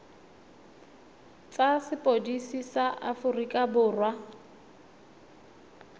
tsa sepodisi sa aforika borwa